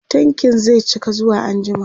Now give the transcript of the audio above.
tankin zai cika zuwa anjima